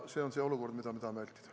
See on see olukord, mida me tahame vältida.